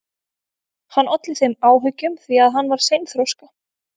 Hann olli þeim áhyggjum því að hann var seinþroska.